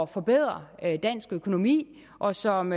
forbedre dansk økonomi og som